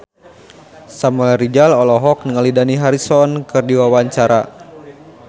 Samuel Rizal olohok ningali Dani Harrison keur diwawancara